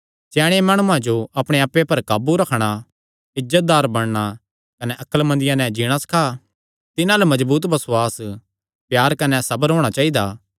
स्याणे माणुआं जो अपणे आप्पे पर काबू रखणा इज्जतदार बणना कने अक्लमंदिया नैं जीणा सखा तिन्हां अल्ल मजबूत बसुआस प्यार कने सबर होणा चाइदा